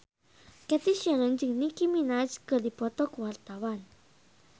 Cathy Sharon jeung Nicky Minaj keur dipoto ku wartawan